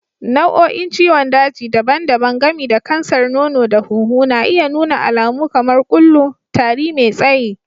Nau'o'in ciwon daji daban-daban, gami da kansar nono da hunhu, na iya nuna alamu kamar kullu, tari mai tsayi.